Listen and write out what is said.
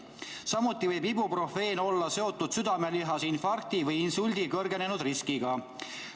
Samuti võib ibuprofeen olla seotud südamelihase infarkti või insuldi kõrgenenud riskiga.